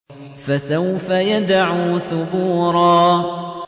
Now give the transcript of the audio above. فَسَوْفَ يَدْعُو ثُبُورًا